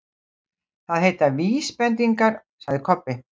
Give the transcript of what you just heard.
Það heita VÍSbendingar, sagði Kobbi.